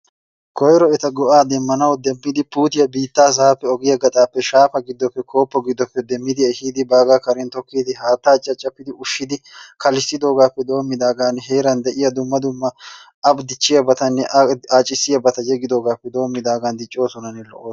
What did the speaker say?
Koyro eta go'aa demmanawu demmidi puuttiya biittaa sa'aa gaxappe, shaafa giddoppe, koopo giddoppe demmidi ehidi baaga karen tokkidi haattaa caccafidi ushshidi kallissidoogappe doommidaagan heeran de'iyaa dumma dumma a dichchiyaabatanne a accissiyaabati yegidoogappe doommidaagan diccoosonanne lo''osona.